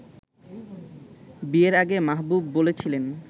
বিয়ের আগে মাহবুব বলেছিলেন